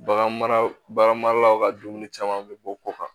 Bagan maralaw ka dumuni caman bɛ bɔ ko kan